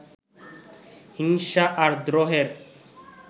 হিংসা আর দ্রোহের